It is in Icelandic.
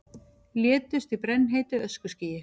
Létust í brennheitu öskuskýi